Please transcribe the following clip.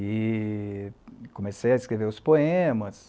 E comecei a escrever os poemas.